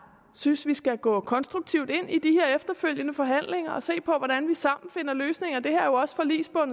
synes vi skal gå konstruktivt ind i de efterfølgende forhandlinger og se på hvordan vi sammen finder nogle løsninger det her er jo også